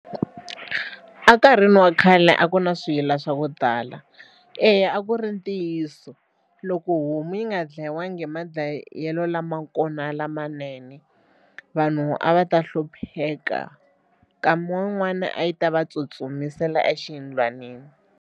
Enkarhini wa khale a ku na swiyila swa ku tala eya a ku ri ntiyiso loko homu yi nga ndlayiwangi hi madlayelo lama kona lamanene vanhu a va ta hlupheka nkama wun'wani a yi ta va tsutsumisela exiyindlwanini.